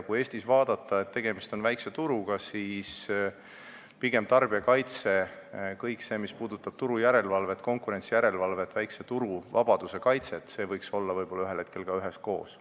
Eestis on tegemist väikse turuga ning tarbijakaitse – kõik see, mis puudutab turujärelevalvet, konkurentsijärelevalvet, väikese turu vabaduse kaitset – võiks pigem ühel hetkel olla üheskoos.